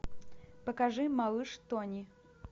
покажи малыш тони